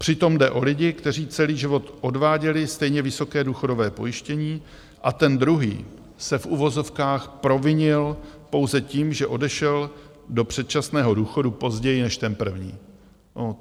Přitom jde o lidi, kteří celý život odváděli stejně vysoké důchodové pojištění, a ten druhý se - v uvozovkách - provinil pouze tím, že odešel do předčasného důchodu později než ten první.